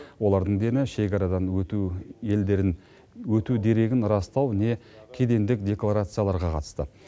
олардың дені шекарадан өту елдерін өту дерегін растау не кедендік декларацияларға қатысты